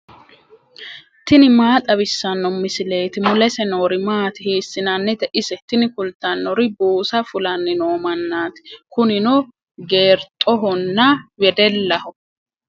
tini maa xawissanno misileeti ? mulese noori maati ? hiissinannite ise ? tini kultannori buusa fulanni noo mannaati. kunino geerxhonna wedellaho.